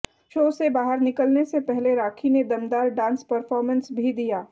show से बाहर निकले से पहले राखी ने दमदार डांस परफॉर्मेंस भी दिया